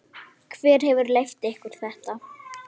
Hver hefur leyft ykkur þetta?